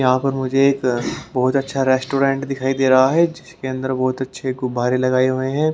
यहाँ पर मुझे एक बहोत अच्छा रेस्टोरेंट दिखाई दे रहा है जिसके अंदर बहोत अच्छे गुब्बारे लगाए हुए हैं।